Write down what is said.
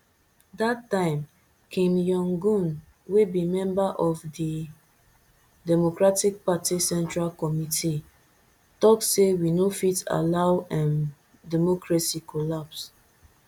dat time kim yonghyun wey be member of di democratic party central committee tok say we no fit allow um democracy collapse